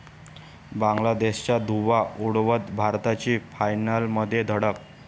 बांगलादेशचा धुव्वा उडवत भारताची फायनलमध्ये धडक